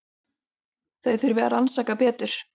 Þau þurfi að rannsaka betur.